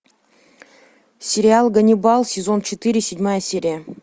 сериал ганнибал сезон четыре седьмая серия